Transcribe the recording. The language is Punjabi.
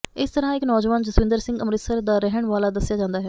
ਇਸ ਤਰ੍ਹਾਂ ਇਕ ਨੌਜਵਾਨ ਜਸਵਿੰਦਰ ਸਿੰਘ ਅੰਮ੍ਰਿਤਸਰ ਦਾ ਰਹਿਣ ਵਾਲਾ ਦੱਸਿਆ ਜਾਂਦਾ ਹੈ